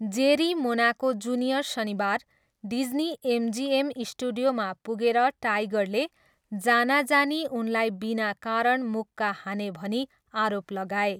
जेरी Monaco Junior शनिबार Disney MGM स्टुडियोमा पुगेर टाइगरले जानाजानी उनलाई बिना कारण मुक्का हाने भनी आरोप लगाए।